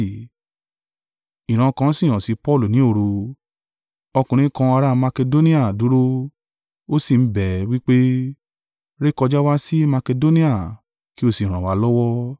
Ìran kan si hàn sì Paulu ni òru, ọkùnrin kan ará Makedonia dúró, ó sì ń bẹ̀ ẹ́, wí pé, “Rékọjá wá sí Makedonia, kí o sí ràn wá lọ́wọ́!”